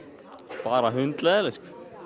bara hundleiðinleg